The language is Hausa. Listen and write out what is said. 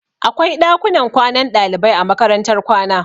Akwai ɗakunan kwanan ɗalibai a makarantar kwana